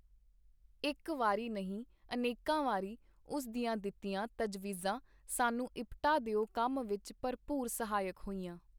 ਇਕ ਵਾਰੀ ਨਹੀਂ ਅਨੇਕਾਂ ਵਾਰੀ ਉਸ ਦੀਆਂ ਦਿੱਤੀਆਂ ਤਜਵੀਜ਼ਾਂ ਸਾਨੂੰ ਇਪਟਾ ਦਿਓ ਕੰਮ ਵਿਚ ਭਰਪੂਰ ਸਹਾਇਕ ਹੋਈਆਂ.